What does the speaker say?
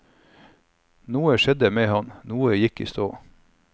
Noe skjedde med ham, noe gikk i stå.